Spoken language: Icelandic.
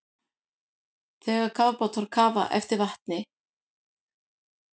Þegar kafbátar kafa er vatni dælt í geyma til að þyngja þá.